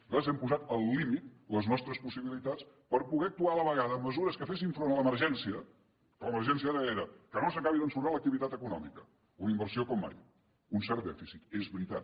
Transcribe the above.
nosaltres hem posat al límit les nostres possibilitats per poder actuar a la vegada amb mesures que fessin front a l’emergència que l’emergència ara era que no s’acabi d’ensorrar l’activitat econòmica una inversió com mai un cert dèficit és veritat